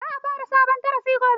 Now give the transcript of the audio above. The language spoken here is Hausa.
Za a fara sabon darasi gobe.